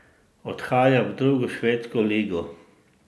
Odhaja v drugo švedsko ligo.